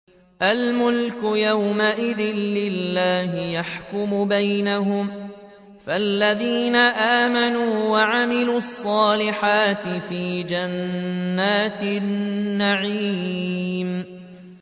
الْمُلْكُ يَوْمَئِذٍ لِّلَّهِ يَحْكُمُ بَيْنَهُمْ ۚ فَالَّذِينَ آمَنُوا وَعَمِلُوا الصَّالِحَاتِ فِي جَنَّاتِ النَّعِيمِ